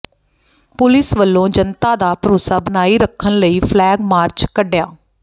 police ਵੱਲੋਂ ਜਨਤਾ ਦਾ ਭਰੋਸਾ ਬਣਾਈ ਰੱਖਣ ਲਈ ਫਲੈਗ ਮਾਰਚ ਕੱਢਿਆ